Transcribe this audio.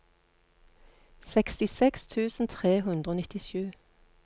sekstiseks tusen tre hundre og nittisju